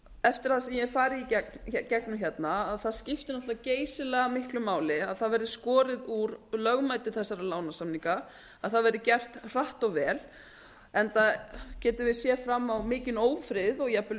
eftir það sem ég hef farið í gegnum hérna skiptir náttúrlega geysilega miklu máli að það verði skorið úr lögmæti þessara lánasamninga það verði gert hratt og vel enda gætum við séð fram á mikinn ófrið og jafnvel